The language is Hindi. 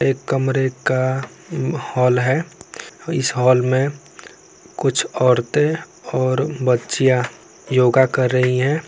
एक कमरे का हॉल है इस हॉल में कुछ औरतें और बच्चियाँ योगा कर रही है।